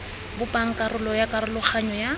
bopang karolo ya karologanyo ya